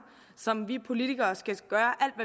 som vi politikere skal gøre